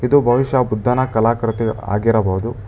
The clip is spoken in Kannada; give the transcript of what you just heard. ಇದು ಬಹುಷ್ಯ ಬುದ್ಧನ ಕಲಾಕೃತಿ ಆಗಿರಬಹುದು.